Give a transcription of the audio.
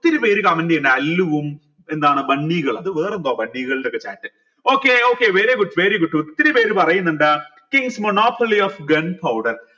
പേര് comment എയുന്ന അല്ലുവും എന്താണ് ബണ്ണി ഇത് വേറെന്തോ ഒക്കെ chat okay okay very good very good ഒത്തിരി പേര് പറയിന്നിണ്ട് monopoly of